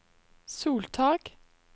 soltak